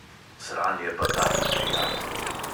Sranje pa taki prijatelji.